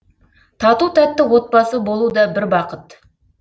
тату тәтті отбасы болу да бір бақыт